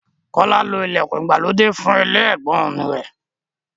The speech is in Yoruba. Kọ́lá lo ìlẹ̀kùn ìgbàlódé fún ilé ẹ̀gbọ́n-ọn rẹ̀.